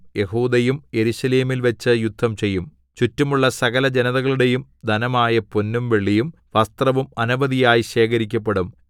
യെഹൂദയും യെരൂശലേമിൽവച്ചു യുദ്ധം ചെയ്യും ചുറ്റുമുള്ള സകലജനതകളുടെയും ധനമായ പൊന്നും വെള്ളിയും വസ്ത്രവും അനവധിയായി ശേഖരിക്കപ്പെടും